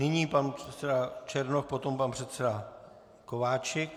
Nyní pan předseda Černoch, potom pan předseda Kováčik.